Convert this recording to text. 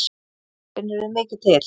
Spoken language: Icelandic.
Finnurðu mikið til?